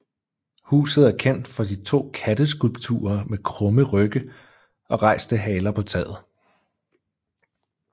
Huset er kendt for de to katteskulpturer med krumme rygge og rejste haler på taget